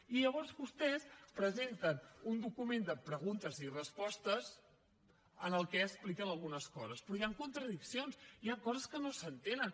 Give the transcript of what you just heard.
i llavors vostès presenten un document de preguntes i respostes en el que expliquen algunes coses però hi han contradiccions hi han coses que no s’entenen